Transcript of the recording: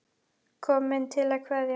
Kom til að kveðja.